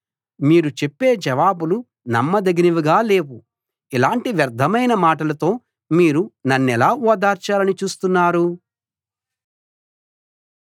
మీరు చెప్పే జవాబులు నమ్మదగినవిగా లేవు ఇలాంటి వ్యర్ధమైన మాటలతో మీరు నన్నెలా ఓదార్చాలని చూస్తున్నారు